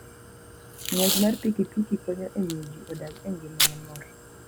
Ng'wech mar pikipiki konyo e miyo ji odag e ngima mamor.